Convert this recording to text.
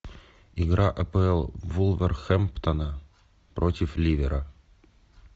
игра апл вулверхэмптона против ливера